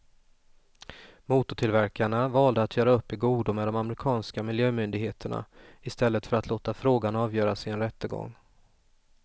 Motortillverkarna valde att göra upp i godo med de amerikanska miljömyndigheterna i stället för att låta frågan avgöras i en rättegång.